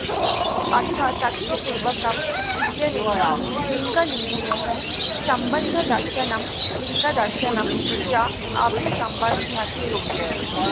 अथ तत्पूर्वकम् इत्यनेन लिङ्गलिङ्गिनोः सम्बन्धदर्शनं लिङ्गदर्शनं च अभिसम्बध्यते